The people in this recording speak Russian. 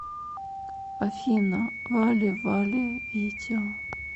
афина вале вале видео